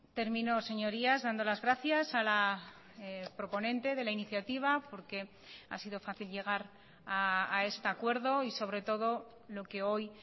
termino señorías dando las gracias a la proponente de la iniciativa porque ha sido fácil llegar a este acuerdo y sobre todo lo que hoy